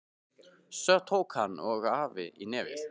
Svo tóku hann og afi í nefið.